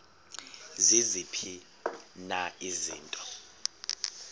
ziziphi na izinto